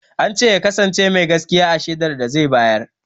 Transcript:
Ance ya kasance mai gaskiya a shaidar da zai bayar